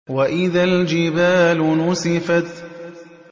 وَإِذَا الْجِبَالُ نُسِفَتْ